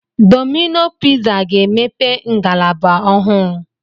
Domino piza ga-emepe ngalaba ọhụụ